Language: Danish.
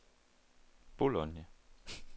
Bologna